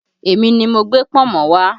Èmi ni mo gbé pọ̀nmọ́ wá